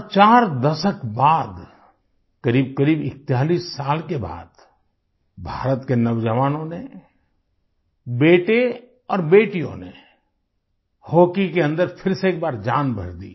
और चार दशक बाद क़रीबक़रीब 41 साल के बाद भारत के नौजवानों ने बेटे और बेटियों ने हॉकी के अन्दर फिर से एक बार जान भर दी